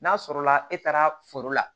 N'a sɔrɔla e taara foro la